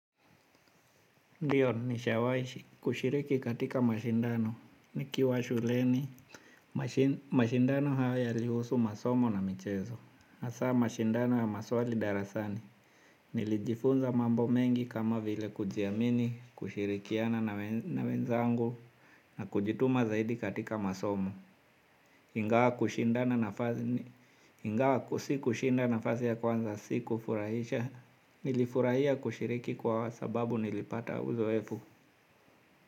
Ndiyo, nishawai kushiriki katika mashindano. Nikiwa shuleni, mashindano hayo yalihusu masomo na michezo. Hasa mashindano ya maswali darasani. Nilijifunza mambo mengi kama vile kujiamini, kushirikiana na wenzangu na kujituma zaidi katika masomo. Ingawa sikushinda nafasi ya kwanza si kufurahisha. Nilifurahia kushiriki kwa sababu nilipata uzoefu.